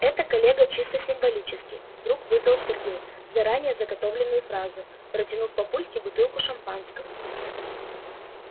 это коллега чисто символически вдруг выдал сергей заранее заготовленную фразу протянув папульке бутылку шампанского